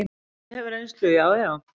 Ég hef reynslu, já, já.